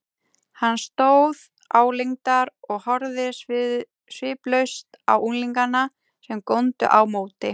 Hann stóð álengdar og horfði sviplaust á unglingana, sem góndu á móti.